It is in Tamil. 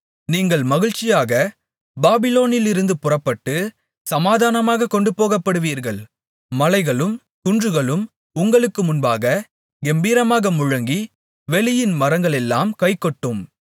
நீங்கள் மகிழ்ச்சியாகப் பாபிலோனிலிருந்து புறப்பட்டு சமாதானமாகக் கொண்டு போகப்படுவீர்கள் மலைகளும் குன்றுகளும் உங்களுக்கு முன்பாகக் கெம்பீரமாக முழங்கி வெளியின் மரங்களெல்லாம் கைகொட்டும்